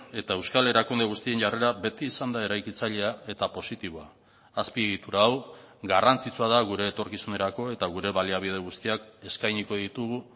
eta euskal erakunde guztien jarrera beti izan da eraikitzailea eta positiboa azpiegitura hau garrantzitsua da gure etorkizunerako eta gure baliabide guztiak eskainiko ditugu